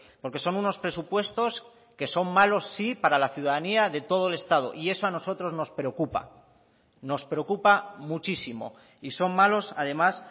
porque son unos presupuestos que son malos sí para la ciudadanía de todo el estado y eso a nosotros nos preocupa nos preocupa muchísimo y son malos además